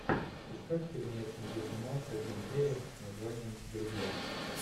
искать фильмец где снимался джим керри с названием друзья